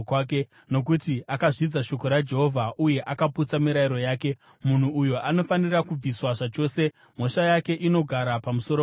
Nokuti akazvidza shoko raJehovha uye akaputsa mirayiro yake, munhu uyo anofanira kubviswa zvachose; mhosva yake inogara pamusoro pake.’ ”